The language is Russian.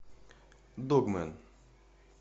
догмэн